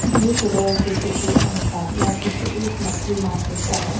दिए गए चित्र के अनुसार यह चित्र एक मछली मार्केट का है।